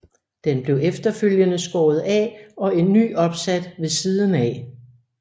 Den blev efterfølgende skåret af og en ny opsat ved siden af